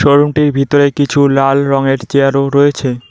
শোরুমটির ভিতরে কিছু লাল রঙের চেয়ারও রয়েছে।